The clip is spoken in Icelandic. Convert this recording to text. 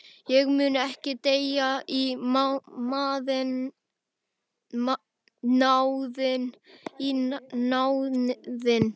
Ég mun ekki deyja í náðinni.